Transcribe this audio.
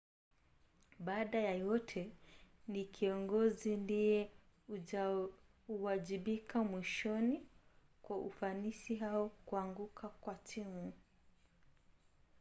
baada ya yote ni kiongozi ndiye huwajibika mwishoni kwa ufanisi au kuanguka kwa timu